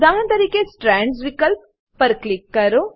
ઉદાહરણ તરીકે સ્ટ્રેન્ડ્સ વિકલ્પ પર ક્લિક કરો